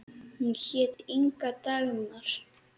Hún hét Inga Dagmar.